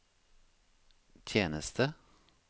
tjeneste